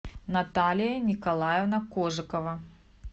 наталья николаевна кожикова